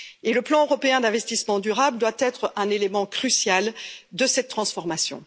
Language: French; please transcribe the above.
Le plan européen d'investissement durable doit être un élément crucial de cette transformation.